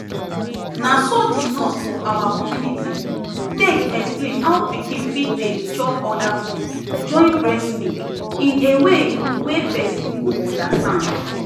naso the nurse for our community take explain how pikin fit dey chop other food join breast milk in a way wey person go understand